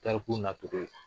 Tariku na cogo ye.